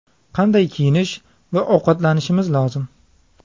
Qanday kiyinish va ovqatlanishimiz lozim?